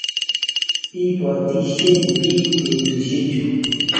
Ipotisye piik petusye chu.